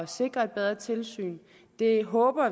sikre et bedre tilsyn det håber